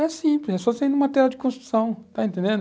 É simples, é só você ir no material de construção, está entendendo?